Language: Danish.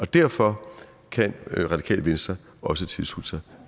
derfor kan radikale venstre også tilslutte sig